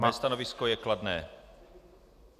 Moje stanovisko je kladné.